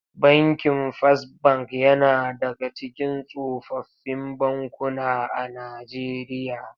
Bankin Fas Bank yana daga cikin tsofaffin bankuna a Najeriya.